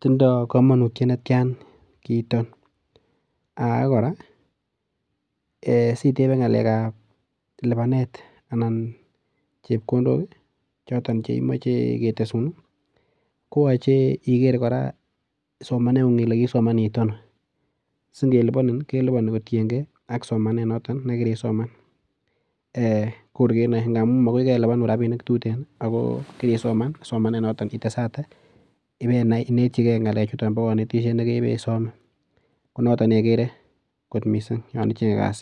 tindo kamanutiet netian kiiton age kora ee sitebe ngalekab lubanet anan chepkondok choton che imoche ketesun koyoche iger kora somanengung kokiisoman iit ano. Singelubanin kelubani kotienge ak somanet noto ne kirisoman. Kor kenoe ngamun makoi kelubanin rapinik tuten ago kirisoman somanet noto itesate ibainachi ge ngalechuton bo kanetiet ne keboisome. Konotok neigere kot mising yon ichenge kasit.